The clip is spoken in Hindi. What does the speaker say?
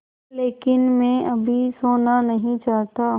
लेकिन मैं अभी सोना नहीं चाहता